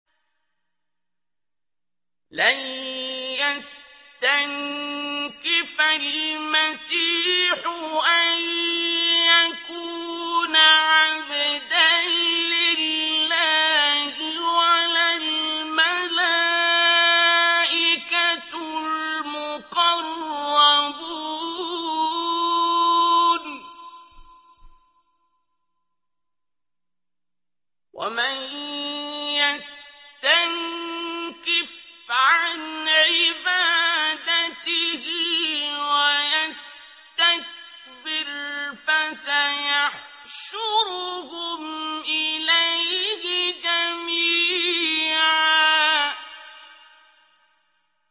لَّن يَسْتَنكِفَ الْمَسِيحُ أَن يَكُونَ عَبْدًا لِّلَّهِ وَلَا الْمَلَائِكَةُ الْمُقَرَّبُونَ ۚ وَمَن يَسْتَنكِفْ عَنْ عِبَادَتِهِ وَيَسْتَكْبِرْ فَسَيَحْشُرُهُمْ إِلَيْهِ جَمِيعًا